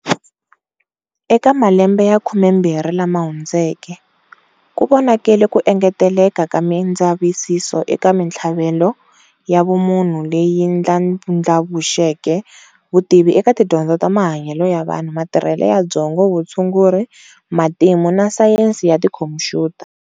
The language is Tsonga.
Eka malembe ya khume mbirhi lama hundzeke, kuvonakele ku engeteleka ka mindzavisiso eka minthlaveko ya vumunhu, leyi ndlandlvuxeke vutivi eka tidyondzo ta mahanyele ya vanhu, matirhele ya byongo, Vutshunguri, Matimu na Sayensi ya tikhompuyuta.